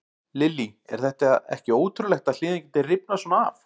Lillý: Er þetta ekki ótrúlegt að hliðin geti rifnað svona af?